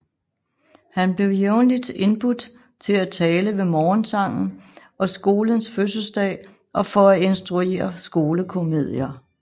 Han blev jævnligt indbudt til at tale ved morgensangen og skolens fødselsdag og for at instruere skolekomedier